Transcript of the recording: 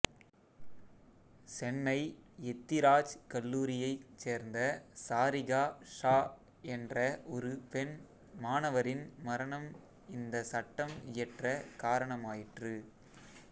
சென்னை எத்திராஜ் கல்லூரியை சேர்ந்த சாரிகா ஷா என்ற ஒரு பெண் மாணவரின் மரணம் இந்த சட்டம் இயற்ற காரணமாயிற்று